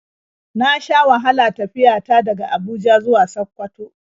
Na sha wahala tafiya ta daga Abuja zuwa Sakkwato.